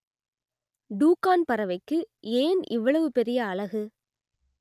டூக்கான் பறவைக்கு ஏன் இவ்வளவு பெரிய அலகு